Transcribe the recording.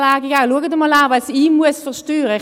Schaut doch einmal an, was ich versteuern muss.